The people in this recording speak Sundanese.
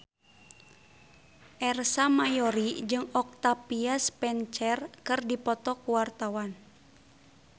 Ersa Mayori jeung Octavia Spencer keur dipoto ku wartawan